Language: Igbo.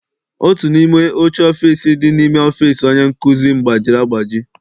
Otu n'ime oche ọfịịsi dị n'ime ọfịịsi onye nkụzi m gbajiri agbaji.